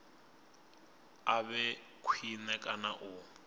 a vhe khwine kana u